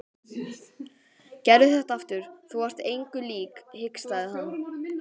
Gerðu þetta aftur, þú varst engu lík hikstaði hann.